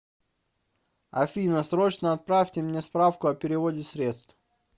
афина срочно отправьте мне справку о переводе средств